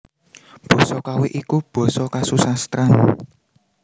Basa Kawi iku basa kasusastran